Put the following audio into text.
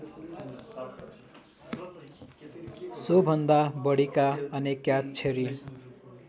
सोभन्दा बढीका अनेकाक्षरी